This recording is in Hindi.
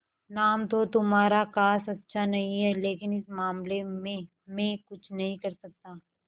नाम तो तुम्हारा खास अच्छा नहीं है लेकिन इस मामले में मैं कुछ नहीं कर सकता